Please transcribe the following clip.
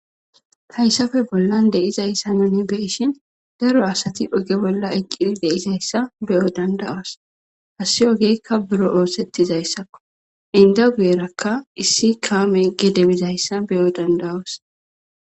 hayssape bollan de7izayssa nuni be7ishin daro asati oge bolla eqqidi de7izayssa be7o danda7os hassi ogeykka buro oosettizayssakko inda guyerakka issi kaame gede bizayssa beyo danda7awus